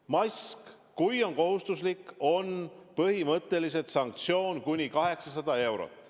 Kui mask on kohustuslik, on põhimõtteliselt sanktsioon kuni 800 eurot.